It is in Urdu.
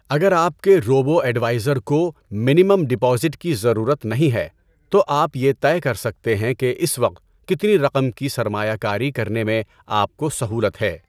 اگر آپ کے روبو ایڈوائزر کو منیمم ڈپازٹ کی ضرورت نہیں ہے تو آپ یہ طے کر سکتے ہیں کہ اس وقت کتنی رقم کی سرمایہ کاری کرنے میں آپ کو سہولت ہے۔